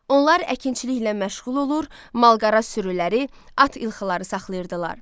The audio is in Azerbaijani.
Onlar əkinçiliklə məşğul olur, malqara sürüləri, at ilxıları saxlayırdılar.